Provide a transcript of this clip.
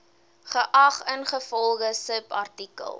geag ingevolge subartikel